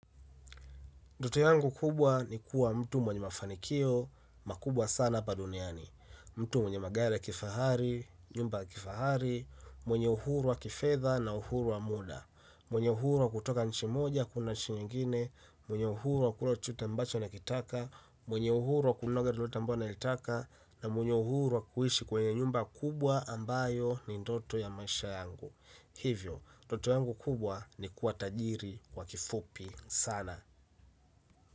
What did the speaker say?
Nfoto yangu kubwa ni kuwa mtu mwenye mafanikio, makubwa sana hapa duniani, mtu mwenye magari ya kifahari, nyumba ya kifahari, mwenye uhuru wa kifedha na uhuru wa muda, mwenye uhuru wa kutoka nchi moja kuenda nchi ngine, mwenye uhuru wa kula chochote ambacho anakitaka, mwenye uhuru wa kuloga lolote ambalo analitaka, na mwenye uhuru wa kuishi kwenye nyumba kubwa ambayo ni ndoto ya maisha yangu. Hivyo, ndoto yangu kubwa ni kuwa tajiri kwa kifupi sana.